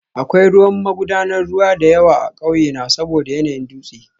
Akwai ruwan magudanar ruwa da yawa a ƙauyena saboda yanayin dutse